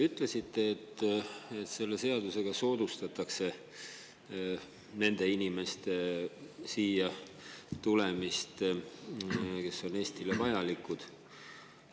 Ütlesite, et selle seadusega soodustatakse nende inimeste siia tulemist, kes on Eestile vajalikud.